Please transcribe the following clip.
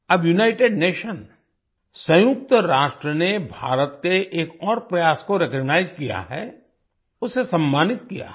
अब united nation संयुक्त राष्ट्र ने भारत के एक और प्रयास को रिकॉग्नाइज किया है उसे सम्मानित किया है